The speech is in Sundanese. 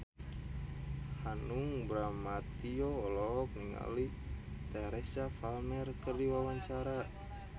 Hanung Bramantyo olohok ningali Teresa Palmer keur diwawancara